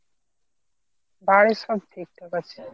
বাড়ির সব ঠিকঠাক আছে.